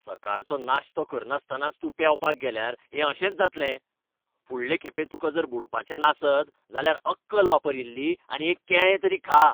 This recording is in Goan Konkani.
सकाळचो नाश्तो करनासतनाच तूं पेंवपाक गेल्यार हें अशेंच जातलें. फुडले खेपे तुका जर बुडपाचें नासत जाल्यार अक्कल वापर इल्ली आनी एक केळें तरी खा.